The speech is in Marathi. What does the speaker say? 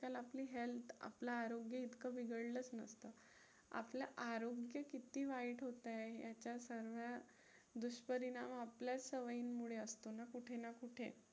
आपल्याला आपली health आपलं आरोग्य इतकं बिघडलंच नसतं, आपलं आरोग्य किती वाईट होतंय याचा सर्व दुष्परिणाम आपल्याच सवयींमुळे असतो ना कुठे ना कुठे.